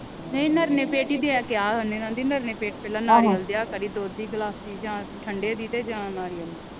ਨਹੀਂ ਨਿਰਣੇ ਪੇਟ ਈ ਦਿਆ ਕਿਹਾ ਉਹ ਨੇ ਆਂਦੀ ਨਿਰਣੇ ਪੇਟ ਪਹਿਲਾਂ ਨਾਰੀਅਲ ਦਇਆ ਕਰੀ ਦੁੱਧ ਦੀ ਗਿਲਾਸੀ ਜਾ ਠੰਡੇ ਦੀ ਤੇ ਜਾ ਨਾਰੀਅਲ ਦੀ।